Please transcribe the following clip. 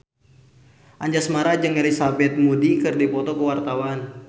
Anjasmara jeung Elizabeth Moody keur dipoto ku wartawan